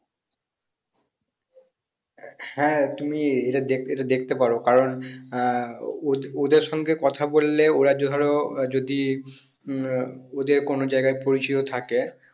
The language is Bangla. হ্যাঁ তুমি এটা দেখ এটা দেখতে পারো কারণ আহ ও ওদের সঙ্গে ওরা ধরো যদি আহ ওদের কোনো জায়গায় পরিচিত থাকে